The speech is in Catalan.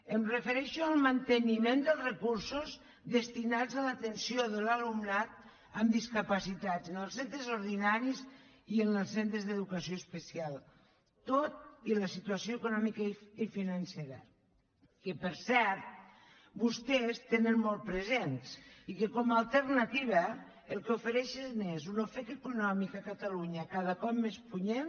em refereixo al manteniment dels recursos destinats a l’atenció de l’alumnat amb discapacitats en els centres ordinaris i en els centres d’educació especial tot i la situació econòmica i financera que per cert vostès tenen molt present i que com alternativa el que ofereixen és un ofec econòmic a catalunya cada cop més punyent